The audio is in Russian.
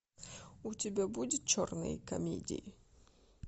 у тебя будет черные комедии